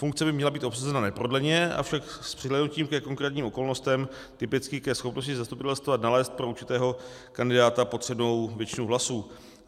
Funkce by měla být obsazena neprodleně, avšak s přihlédnutím ke konkrétním okolnostem, typicky ke schopnosti zastupitelstva nalézt pro určitého kandidáta potřebnou většinu hlasů.